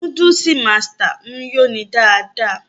Núdúùsù Masters ń yó ni dáadáa